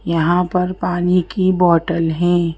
यहां पर पानी की बॉटल है।